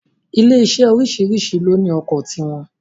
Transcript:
Ilé iṣé oríṣìríṣi ló ní ọkọ̀ ti wọn